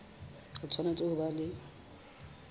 o tshwanetse ho ba le